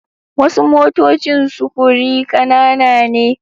Wasu motocin sufuri kanana ne